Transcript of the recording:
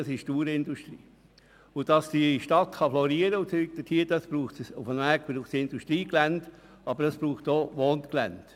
Die Stadt kann nur florieren, wenn sich Industrie- und Wohngelände nahe beieinander befinden.